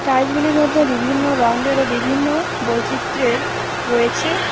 Tiles -গুলির মধ্যে বিভিন্ন রঙ্গের ও বিভিন্ন বৈচিত্র্যের রয়েছে।